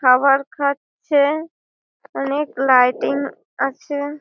খাবার খাচ্ছে অনেক লাইটিং আছে ।